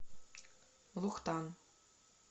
лухтан